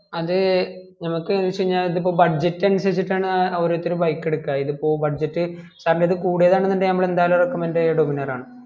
അത് നമുക്ക് വെച് കയിഞ്ഞാൽ ഇത് ഇപ്പോ budget അനുസരിചിട്ടാണ് ഓരോരുത്തർ bike എടുക്കുവാ ഇത് ഇപ്പം budget കാരണം ഇത് കൂടുതൽ ആണെങ്കിൽ നമ്മൾ എന്തായാലും recommend ചെയ്യുക dominar ആണ്